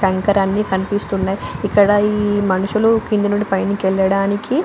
ఈ కంకర అన్ని కనిపిస్తున్నాయి ఇక్కడ మనుషులు కింద నుండి పైకి పైకి యెల్లడానికి --